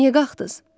Niyə qalxdınız?